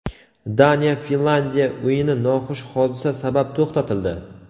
Daniya Finlyandiya o‘yini noxush hodisa sabab to‘xtatildi.